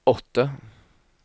åtte